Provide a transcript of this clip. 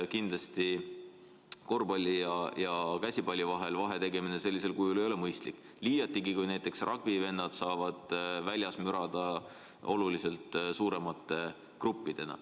Aga korvpalli ja käsipalli vahel sellisel kujul vahetegemine ei ole mõistlik, liiati kui näiteks ragbivennad saavad väljas mürada oluliselt suuremate gruppidena.